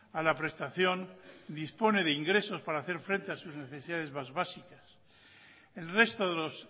a la prestación dispone de ingresos para hacer frente a sus necesidades más básicas el resto de los